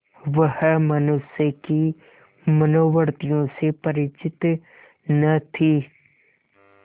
वह मनुष्य की मनोवृत्तियों से परिचित न थी